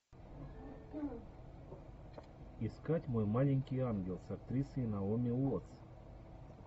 искать мой маленький ангел с актрисой наоми уоттс